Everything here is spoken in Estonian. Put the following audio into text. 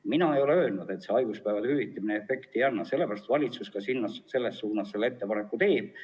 Mina ei ole öelnud, et haiguspäevade hüvitamine efekti ei anna, sellepärast valitsus selles suunas ettepaneku ju teebki.